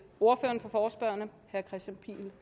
ordføreren for forespørgerne herre kristian pihl